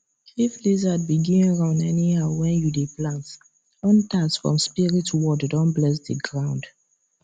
if lizard begin run anyhow when you dey plant hunters from spirit world don bless the ground